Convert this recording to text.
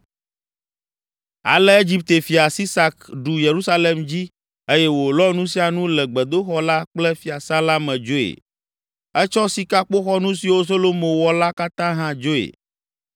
Ale Egipte fia, Sisak ɖu Yerusalem dzi eye wòlɔ nu sia nu le gbedoxɔ la kple fiasã la me dzoe. Etsɔ sikakpoxɔnu siwo Solomo wɔ la katã hã dzoe.